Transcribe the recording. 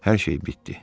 Hər şey bitdi.